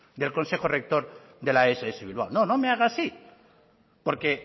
del consejo rector de la ess bilbao no no me hagas así porque